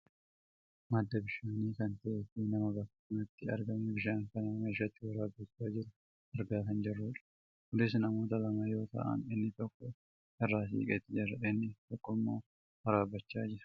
madda bishaanii kan ta'eefi nama bakka kanatti argamee bishaan kana meeshaatti waraabbachaa jiru argaa kan jirrudha. kunis namoota lama yoo ta'an inni tokko irraa siqeet jira. inni tokkommoo waraabbachaa jira.